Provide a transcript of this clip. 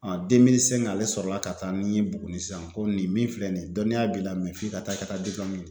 ale sɔrɔla ka taa ni n ye Buguni sisan komi nin min filɛ nin ye dɔnniya b'i la f'i ka taa ka taa